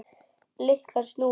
Lyklar snúast.